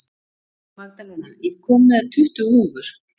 Magdalena, ég kom með tuttugu húfur!